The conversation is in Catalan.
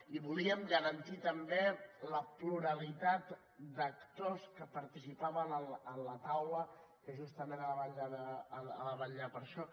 i volíem garantir també la pluralitat d’actors que participaven en la taula que justament ha de vetllar per això